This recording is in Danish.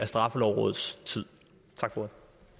straffelovrådets tid tak for